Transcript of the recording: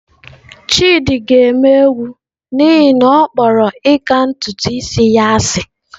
Chidi ga-eme egwu n'ihi na ọ kpọrọ ịka ntutu isi ya asị.